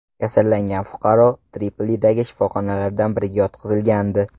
Kasallangan fuqaro Tripolidagi shifoxonalardan biriga yotqizilgandi.